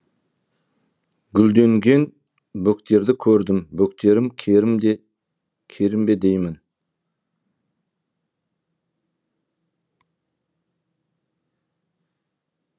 гүлденген бөктерді көрдім бөктерім керім бе деймін